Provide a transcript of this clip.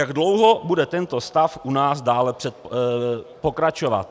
Jak dlouho bude tento stav u nás dále pokračovat?